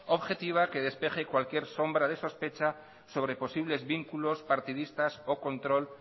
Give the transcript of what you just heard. objetiva que despeje cualquier sombra de sospecha sobre posibles vínculos partidistas o control